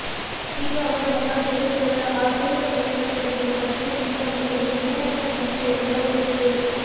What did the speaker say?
ಈಗ ಅವರ ಮಗ ಸುರೇಶ್ ಅವರ ಆಧುನಿಕ ಪರಿಕಲ್ಪನೆಗಳು ಮತ್ತು ಚಿಂತನೆಗಳೂ ವಿನ್ಯಾಸದ ಮೂಸೆಯಲ್ಲಿ ಅರಳುತ್ತಿವೆ